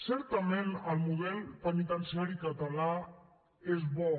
certament el model penitenciari català és bo